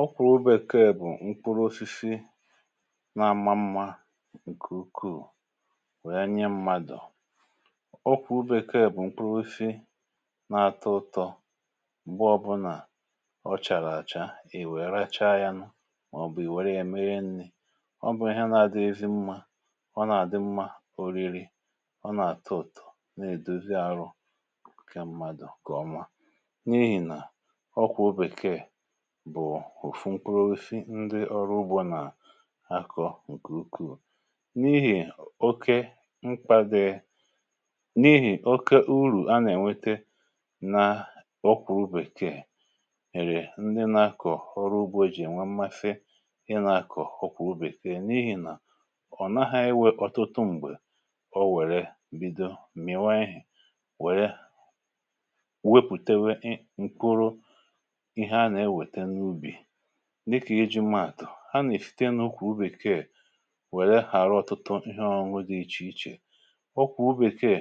ókwùrù obėkeè bụ̀ nkwụrụosisi na-ama mmȧ ǹkè ukwuù, wèe onye mmadụ̀ ọ kwùrù obėkeè bụ̀ nkwụrụosisi na-atọ ụtọ̇ m̀gbe ọbụlà ọ chàrà àcha. ì wèe racha ya nù, màọ̀bụ̀ ì wère ya mere nni̇, ọ bụ̀ àhịa na-adịghịzị mmȧ, ọ nà-àdị mmȧ oriri, ọ nà-àtọ ụtọ̇, na-èdozi arụ ǹkè mmadụ̀ kà ọma, n’ihì nà ọkwụ̀ obèkeè bụ̀ ùfùmkrofi. ndị ọrụ ugbȯ nà-àkọ ǹkè ukwu̇ n’ihì oke mkpàdè, n’ihì oke urù a nà-ènwete n’ọkwà ubèkee. èrè, ndị nà-akọ̀ ọrụ ugbȯ ejì ènwe mmafe, ị nà-àkọ̀ ọkwà ubèke n’ihì nà ọ̀ naghȧ iwė ọtụtụ m̀gbè, o wère bido m̀mìwa, ihė wère dịkà iji mạtụ̀, ha nà-èfite n’ukwù ubìkeè, wèle hàrà ọtụtụ ihe, ọrụ nwụ dị̇ iche iche. ọkwù ubìkeè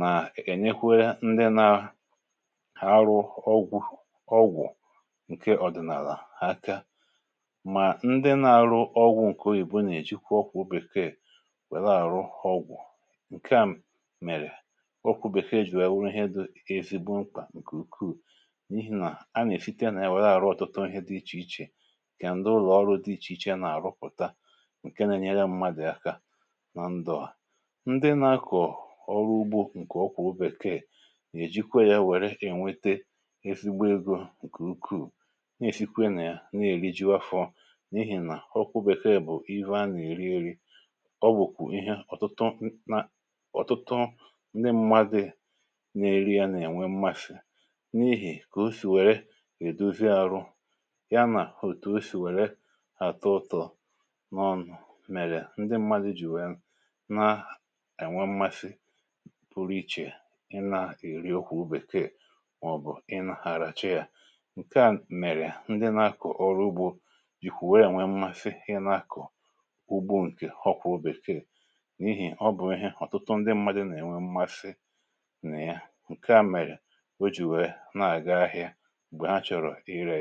nà-ènyekwa ndị nȧ ha arụ ọgwụ̀ — ọgwụ̀ ǹkè ọ̀dị̀nàlà hà aka — mà ndị na-arụ ọgwụ̇ ǹkè oyìbo nà-èjikwa ọkwụ̇ bekee wèla àrụ ọgwụ̀. ǹkè a mèrè ọkwù bèkeè jì wèe wụ̀ ihe dị̇ ezigbo mkpà ǹkè ukwuù, kà ǹdụ̀ ụlọ̀ ọrụ dị iche iche nà-àrụpụ̀ta, ǹke nà-ènye mmadụ̀ aka nà ndụ̀ hà. ndị nà-akụ̀ ọrụ ugbȯ ǹkè ọkwà obèkee nà-èjikwa ya nwè ènwete ezigbo egȯ, ǹkè ukwuù, nà èsikwe nà ya, nà-èri jiwa fọ, n’ihì nà ọkwụ bèkeè bụ̀ eva, nà-èri eri. ọ bụ̀kwànụ ihe ọ̀tụtụ ndị mmadụ̇ nà-èri, ya nà-ènwe mmasị, ya nà òtù o sì wère àtọ ụtọ̀ n’ọnụ̇, mèrè ndị mmadụ̇ jì nwèe nà-ènwe mmasị pụrụ ichè, ị nà-èri ọkwù bekee, mà ọ̀ bụ̀ ị nà-àràchaa yȧ. ǹkè à mèrè ndị nà-akụ̀ ọrụ ugbȯ jìkwà wee nwè mmasị, ị nà-akụ̀ ugbȯ ǹkè ọkwà obèkeè, n’ihì ọ bụ̀ ihe ọ̀tụtụ ndị mmadụ̇ nà-ènwe mmasị nà ya. ǹkè à mèrè o jì wèe na-àga ahịa ya.